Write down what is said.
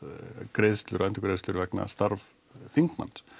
greiðslur og endurgreiðslur vegna starf þingmanns